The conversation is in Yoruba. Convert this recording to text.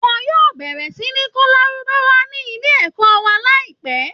Wọn yóò bẹ̀rẹ̀ sí ní kọ́ lárúbáwá ní ilé ẹ̀kọ́ wa láìpẹ́